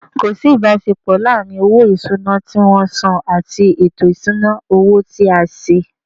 Ko si ibasepo laaarin owo isuna ti won san ati eto isuna owo ti a se.